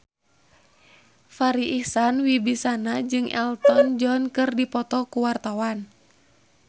Farri Icksan Wibisana jeung Elton John keur dipoto ku wartawan